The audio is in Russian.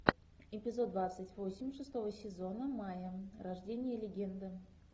эпизод двадцать восемь шестого сезона майя рождение легенды